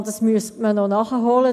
Das müsste man nachholen.